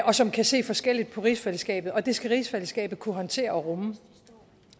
og som kan se forskelligt på rigsfællesskabet det skal rigsfællesskabet kunne håndtere og rumme